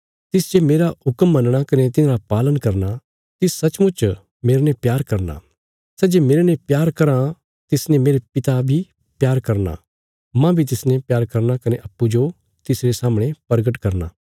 तिस जे मेरा हुक्म मनणा कने तिन्हांरा पालन करना तिस सचमुच मेरने प्यार करना सै जे मेरने प्यार कराँ तिसने मेरे पिता प्यार करना मांह बी तिसने प्यार करना कने अप्पूँजो तिसरे सामणे परगट करना